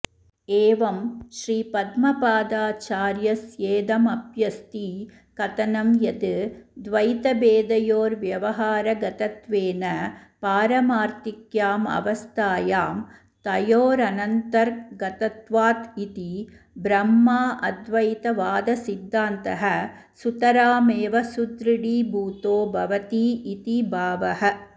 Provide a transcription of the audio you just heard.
एवं श्रीपद्मपादाचार्यस्येदमप्यस्ति कथनं यद् द्वैतभेदयोर्व्यवहारगतत्वेन पारमार्थिक्यामवस्थायां तयोरनन्तर्गतत्वात् इति ब्रह्माऽद्वैतवादसिद्धान्तः सुतरा मेव सुदृढीभूतो भवतीति भावः